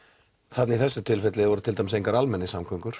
þarna í þessu tilfelli voru til dæmis engar almenningssamgöngur